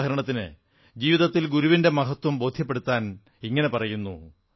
ഉദാഹരണത്തിന് ജീവിതത്തിൽ ഗുരുവിന്റെ മഹത്വം ബോധ്യപ്പെടുത്താൻ പറയുന്നു